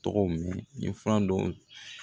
Tɔgɔw mɛn nin fura dɔw